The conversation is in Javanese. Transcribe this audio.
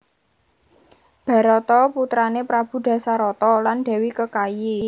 Barata putrané Prabu Dasarata lan Dèwi Kekayi